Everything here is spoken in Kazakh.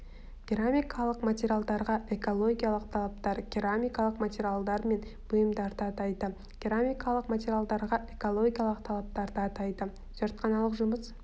керамикалық материалдарға экологиялық талаптар керамикалық материалдар мен бұйымдарды атайды керамикалық материалдарға экологиялық талаптарды атайды зертханалық жұмыс